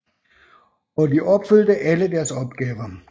Og de opfyldte alle deres opgaver